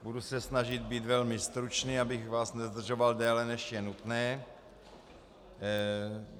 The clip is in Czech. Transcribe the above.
Budu se snažit být velmi stručný, abych vás nezdržoval déle, než je nutné.